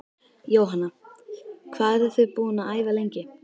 Jóhanna: Hvað eruð þið búin að æfa lengi?